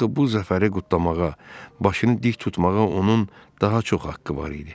Axı bu zəfəri qutlamağa, başını dik tutmağa onun daha çox haqqı var idi.